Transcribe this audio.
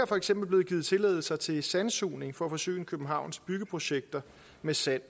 for eksempel blevet givet tilladelser til sandsugning for at forsyne københavns byggeprojekter med sand